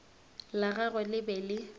la gagwe le be le